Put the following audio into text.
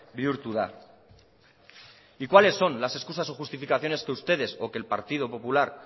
bihurtu da y cuales son las excusas y justificaciones que ustedes o que el partido popular